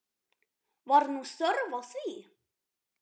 Var nú þörf á því?